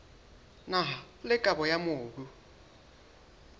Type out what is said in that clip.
naha le kabo ya mobu